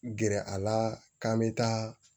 Gɛrɛ a la k'an bɛ taa